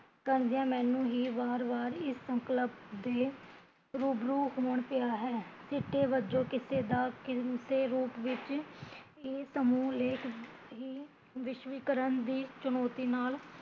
ਕਹਿੰਦਿਆ ਮੈਂਨੂੰ ਹੀਂ ਵਾਰ ਵਾਰ ਇਸ ਸੰਕਲਪ ਦੇ ਰੂਬਰੂ ਹੋਣ ਪਿਆ ਹੈ ਸਿੱਟੇ ਵਜੋਂ ਕਿਸੇ ਦਾ ਕਿਸੇ ਰੂਪ ਵਿੱਚ ਇਹ ਸਮੂਹ ਲੇਖ ਵਿਸ਼ਵੀਕਰਨ ਦੀ ਚੁਣੋਤੀ ਨਾਲ਼